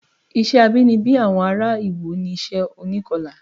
Iṣẹ́ abínibí àwọn ará Iwo ni iṣẹ́ onikọlà